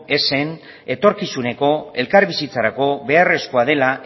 ezen etorkizuneko elkarbizitzarako beharrezkoa dela